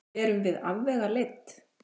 Erum við afvegaleidd?